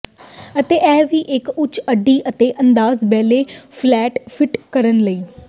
ਅਤੇ ਇਹ ਵੀ ਇੱਕ ਉੱਚ ਅੱਡੀ ਅਤੇ ਅੰਦਾਜ਼ ਬੈਲੇ ਫਲੈਟ ਫਿੱਟ ਕਰਨ ਲਈ